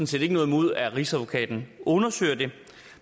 set ikke noget imod at rigsadvokaten undersøger det